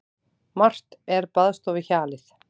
Margt er baðstofuhjalið.